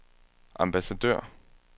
ambassadør